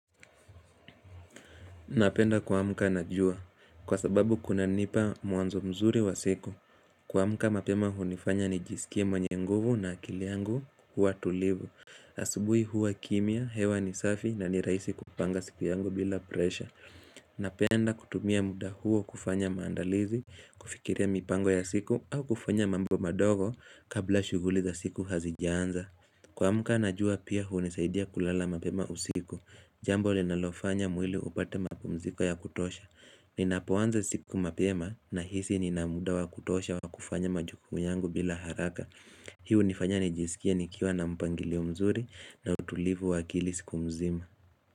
Napenda kuamka na jua. Kwa sababu kuna nipa mwanzo mzuri wa siku. Kuamka mapema hunifanya nijisikie mwenye nguvu na akili yangu huwa tulivu. Asubui huwa kimya, hewa ni safi, na ni rahisi kupanga siku yangu bila presha. Napenda kutumia muda huo kufanya maandalizi, kufikiria mipango ya siku au kufanya mambo madogo kabla shughuli za siku hazijanza. Kuamka na jua pia hunisaidia kulala mapema usiku. Jambo linalofanya mwili upate mapumziko ya kutosha. Ninapoanza siku mapema, nahisi nina muda wa kutosha wakufanya majukumu yangu bila haraka Hii hunifanya nijisikie nikiwa na mpangilio mzuri na utulivu wa akili siku mzima.